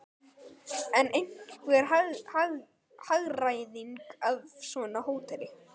En er einhver hagræðing af svona hóteli?